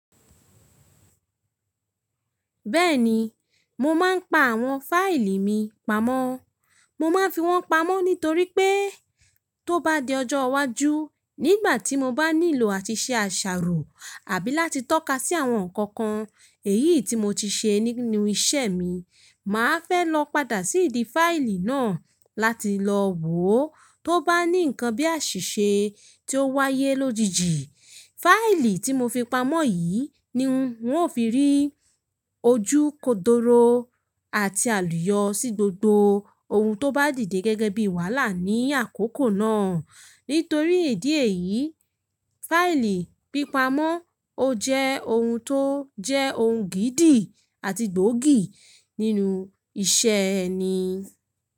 Bẹ́ẹ̀ni, mo ma ń pa àwọn fáìlì mi pamọ́. Mo máa ń fi wọ́n pamọ́ nítorí pé tó bá di ọjọ́ iwájú nígbà tí mo bá nílò àti ṣe àṣàrò àbí láti tọ́ka sí àwọn nǹkan kan èyí tí mo ti ṣe nínú iṣẹ́ mi, màá fẹ́ lọ padà sí ìdí fáìlì náà láti lọ wòó tó bá ní nǹkan bí àṣìṣe tí ó wáyé lójijì. Fáìlì tí mo fi pamọ́ yìí ni n ó fi rí ojú kodoro àti àlùyọ sí gbogbo ohun tó bá dìde gẹ́gẹ́ bí wàhálà ní àkókò náà. Nítorí ìdí yìí, fáìlì pípamọ́ ó jẹ́ ohun tó jẹ́ ohun gìídì àti gbòógì nínú iṣẹ́ ẹni.